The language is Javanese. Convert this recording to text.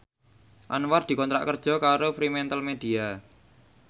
Anwar dikontrak kerja karo Fremantlemedia